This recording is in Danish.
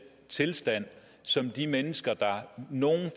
tilstand som de mennesker der